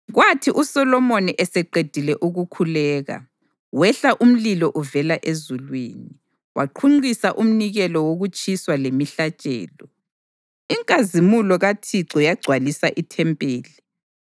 Kwathi uSolomoni eseqedile ukukhuleka, kwehla umlilo uvela ezulwini, waqhunqisa umnikelo wokutshiswa lemihlatshelo, inkazimulo kaThixo yagcwalisa ithempeli.